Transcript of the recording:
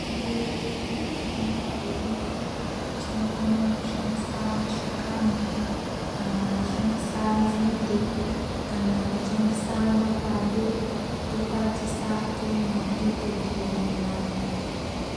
Mitombo yedu irimwo mumabuya mwedu tinokona kushandisa mashakani kana kushandisa nzinde kana kushandisa mapande, tokwatisa tomwa totopona.